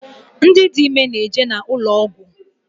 Ndị dị ime na-eje n’ụlọ ọgwụ